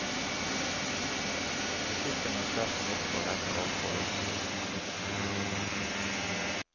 Musikken er sterk nok for henne og for oss.